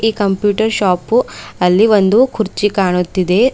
Computer shop ಅಲ್ಲಿ ಒಂದು ಕುರ್ಚಿ ಕಾಣುತ್ತಿದೆ.